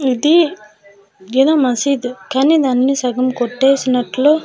ఇది ఎదో మసీద్ కానీ దాన్ని సగం కొట్టేసినట్లు--